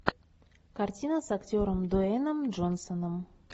картина с актером дуэйном джонсоном